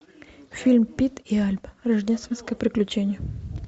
фильм пип и альба рождественское приключение